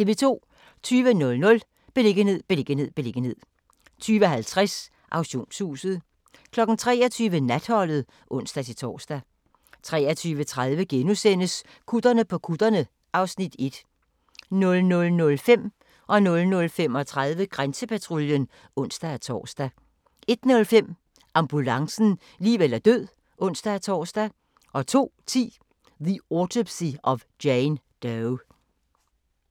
20:00: Beliggenhed, beliggenhed, beliggenhed 20:50: Auktionshuset 23:00: Natholdet (ons-tor) 23:30: Gutterne på kutterne (Afs. 1)* 00:05: Grænsepatruljen (ons-tor) 00:35: Grænsepatruljen (ons-tor) 01:05: Ambulancen - liv eller død (ons-tor) 02:10: The Autopsy of Jane Doe